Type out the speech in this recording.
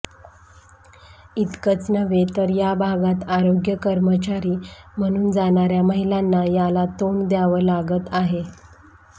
इतकंच नव्हे तर या भागात आरोग्य कर्मचारी म्हणून जाणाऱ्या महिलांना याला तोंड द्यावं लागत आहे